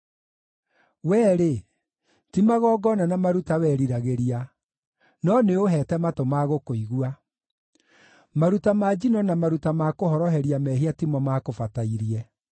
Wee-rĩ, ti magongona na maruta weriragĩria, no nĩũũheete matũ ma gũkũigua; maruta ma njino na maruta ma kũhoroheria mehia ti mo maakũbatairie.